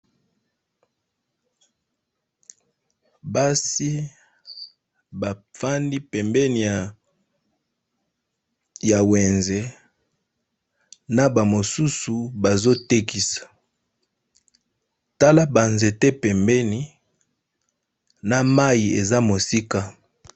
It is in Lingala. Basi bafandi pembeni ya wenze na ba mosusu bazotekisa tala ba nzete pembeni na mayi eza musika.